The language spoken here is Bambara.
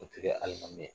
O tɛ kɛ hali ma ye